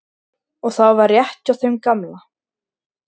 Og það var rétt hjá þeim gamla.